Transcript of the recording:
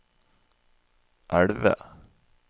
elve